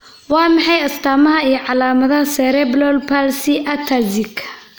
Waa maxay astamaha iyo calamadaha Cerebral palsy ataxic?